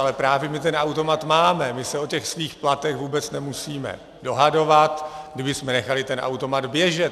Ale právě my ten automat máme, my se o těch svých platech vůbec nemusíme dohadovat, kdybychom nechali ten automat běžet.